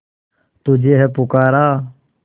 तुझे है पुकारा